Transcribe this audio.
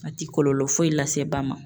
A ti kɔlɔlɔ foyi lase ba ma